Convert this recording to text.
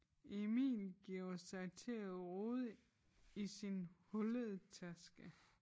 Emil giver sig til at rode i sin hullede taske